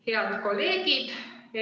Head kolleegid!